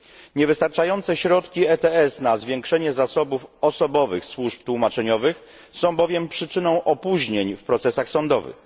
Niewystarczające środki ETS na zwiększenie zasobów osobowych służb tłumaczeniowych są bowiem przyczyną opóźnień w procesach sądowych.